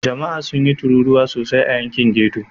Jama'a sun yi tururuwa sosai a yankin ghetto.